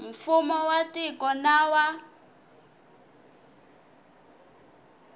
mfumo wa tiko na wa